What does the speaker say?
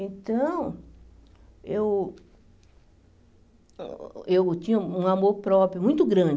Então, eu eu tinha um amor próprio muito grande.